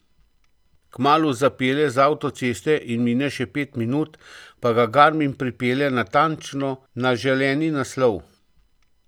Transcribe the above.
Kmalu zapelje z avtoceste, in mine še pet minut, pa ga garmin pripelje natančno na želeni naslov.